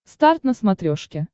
старт на смотрешке